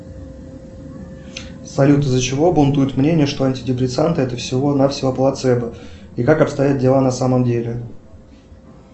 салют из за чего бунтует мнение что антидепрессанты это всего на всего плацебо и как обстоят дела на самом деле